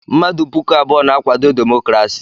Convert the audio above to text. Mmadụ puku abụọ na-akwado demokrasi.